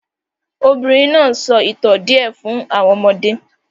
The woman is telling the children some tales